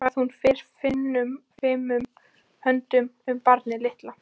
Hvað hún fer fimum höndum um barnið litla.